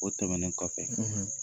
O tɛmɛnen kɔfɛ